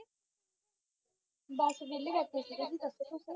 ਬੱਸ ਵਿਹਲੇ ਬੈਠੇ ਸੀਗੇ,